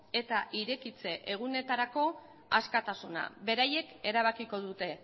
eta irekitze egunetarako askatasuna beraiek erabakiko dute